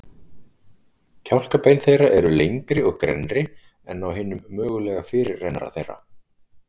Kjálkabein þeirra eru lengri og grennri en á hinum mögulega fyrirrennara þeirra.